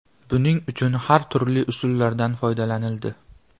Buning uchun har turli usullardan foydalanildi.